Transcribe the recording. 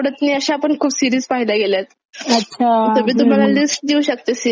तर मी तुम्हाला लिस्ट अच्छा देऊ शकते सिरीज ची की कोणत्या पाहाव्यात आणि कोणत्या नाहीत.